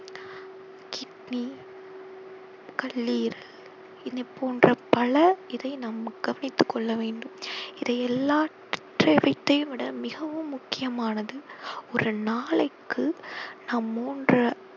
கல்லீரல் இதைப் போன்ற பல இதை நாம் கவனித்துக் கொள்ள வேண்டும் இது எல்லாத்தையும் விட மிகவும் முக்கியமானது ஒரு நாளைக்கு நாம் மூன்ற~